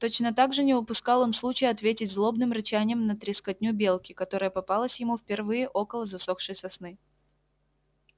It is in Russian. точно так же не упускал он случая ответить злобным рычанием на трескотню белки которая попалась ему впервые около засохшей сосны